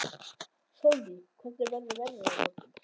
Sólný, hvernig verður veðrið á morgun?